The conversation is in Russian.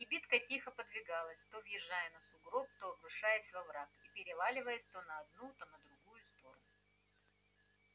кибитка тихо подвигалась то въезжая на сугроб то обрушаясь в овраг и переваливаясь то на одну то на другую сторону